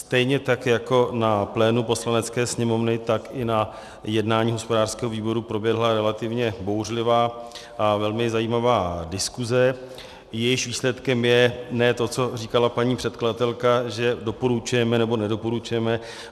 Stejně tak jako na plénu Poslanecké sněmovny, tak i na jednání hospodářského výboru proběhla relativně bouřlivá a velmi zajímavá diskuse, jejímž výsledkem je ne to, co říkala paní předkladatelka, že doporučujeme nebo nedoporučujeme.